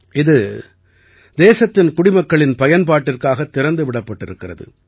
இது தேசத்தின் குடிமக்களின் பயன்பாட்டிற்காகத் திறந்து விடப்பட்டிருக்கிறது